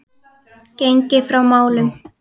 Gengið frá málum í